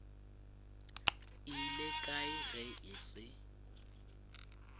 ile kae ge e se